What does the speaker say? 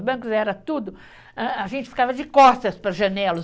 Os bancos era tudo, hã, a gente ficava de costas para a janela.